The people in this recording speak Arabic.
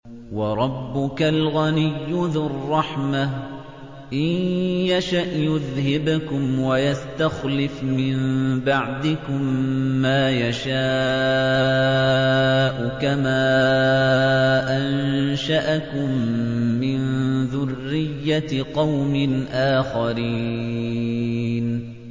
وَرَبُّكَ الْغَنِيُّ ذُو الرَّحْمَةِ ۚ إِن يَشَأْ يُذْهِبْكُمْ وَيَسْتَخْلِفْ مِن بَعْدِكُم مَّا يَشَاءُ كَمَا أَنشَأَكُم مِّن ذُرِّيَّةِ قَوْمٍ آخَرِينَ